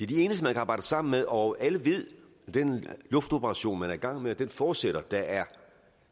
de eneste man kan arbejde sammen med og alle ved i den luftoperation man er i gang med at den forudsætter at der er